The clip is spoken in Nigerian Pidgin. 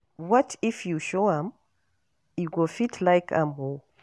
What if you show am, e go fit like am oo